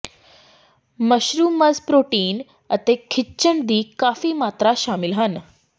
mushrooms protein ਅਤੇ ਖਣਿਜ ਦੀ ਕਾਫੀ ਮਾਤਰਾ ਸ਼ਾਮਿਲ ਹਨ